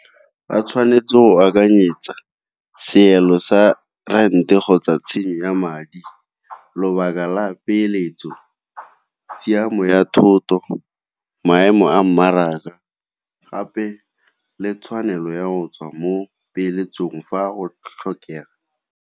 Ba tshwanetse go akanyetsa seelo sa rent-e kgotsa tshenyo ya madi, lobaka la peeletso, tshiamo ya thoto maemo a mmaraka gape le tshwanelo ya go tswa mo dipeeletsong fa go tlhokega.